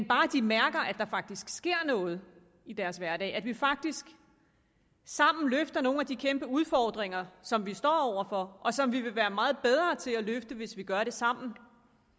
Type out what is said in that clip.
bare de mærker at der faktisk sker noget i deres hverdag at vi faktisk sammen løfter nogle af de kæmpe udfordringer som vi står over for og som vi vil være meget bedre til at løfte hvis vi gør det sammen